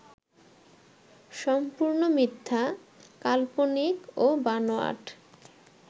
সম্পূর্ণ মিথ্যা, কাল্পনিক ও বানোয়াট